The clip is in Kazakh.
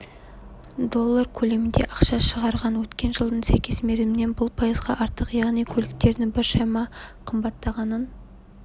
доллар көлемінде ақша шығарған өткен жылдың сәйкес мерзімінен бұл пайызға артық яғни көліктердің біршама қымбаттағанын